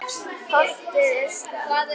Holdið er stökkt.